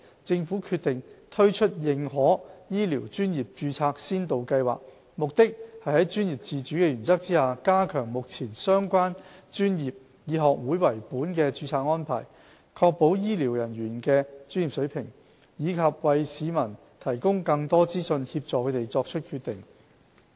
政府決定推出認可醫療專業註冊先導計劃，目的是在專業自主的原則下，加強目前相關專業以學會為本的註冊安排，確保醫療人員的專業水平，以及為市民提供更多資訊，協助他們作出決定。